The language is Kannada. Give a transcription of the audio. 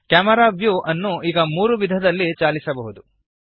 ಕ್ಯಾಮೆರಾ ವ್ಯೂ ಅನ್ನು ಈಗ ನೀವು ಮೂರು ವಿಧದಲ್ಲಿ ಚಾಲಿಸಬಹುದು